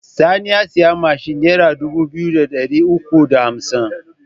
Sani ya siyi mashin nera dubu biyu da ɗari uku da hamsin